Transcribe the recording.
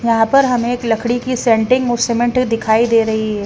यहां पर हमें एक लकड़ी की सेंटिंग और सीमेंट दिखाई दे रही है।